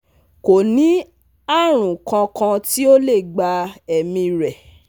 Ko ni arun kan kan ti o le gba emi rẹ